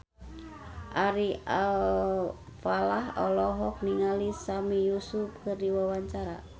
Ari Alfalah olohok ningali Sami Yusuf keur diwawancara